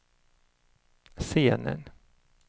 scenen